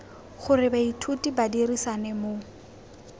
gore baithuti ba dirisane mo